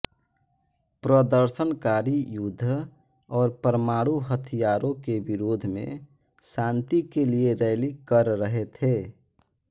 प्रदर्शनकारी युद्ध और परमाणु हथियारों के विरोध में शांति के लिए रैली कर रहे थे